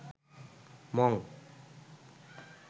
Mong